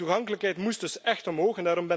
De toegankelijkheid moest dus echt omhoog.